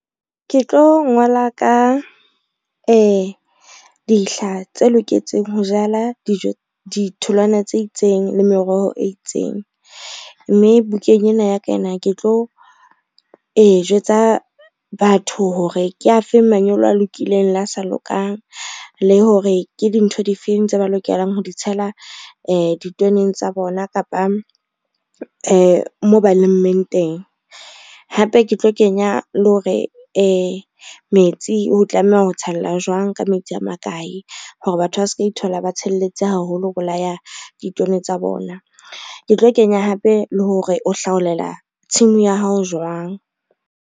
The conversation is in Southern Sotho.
Ke tlo ngola ka dihla tse loketseng ho jala ditholwana tse itseng le meroho e itseng, mme bukeng ena ya ka ena ke tlo jwetsa batho hore ke afe manyolo a lokileng le a sa lokang, le hore ke dintho di feng tse ba lokelang ho di tshela ditoneng tsa bona kapa moo ba lemmeng teng. Hape ke tlo kenya le hore metsi o tlameha ho tshella jwang ka metsi a makae, hore batho ba ska ithola ba tshelletse haholo ho bolaya ditone tsa bona. Ke tlo kenya hape le hore o hlaolela tshimo ya hao jwang.